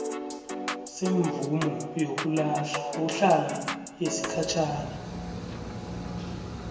semvumo yokuhlala yesikhatjhana